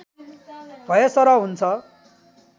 भएसरह हुन्छ